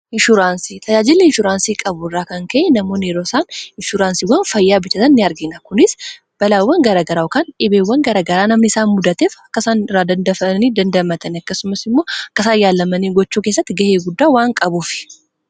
Inshuuraansii tajaajiiilli insuuraansii qabu irraa kan ka'e namoon roosaan inshuraansiiwwan fayyaa bichatan ini argina kunis balaawwan garagaraakaan dhibeewwan garagaraa namni isaa muddateef akkasaan irraa dandafanii dandamatan akkasumas immoo akkasaa yaallamanii gochuu keessatti ga'ee guddaa waan qabuuf.